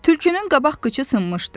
Tülkünün qabaq qıçı sınmışdı.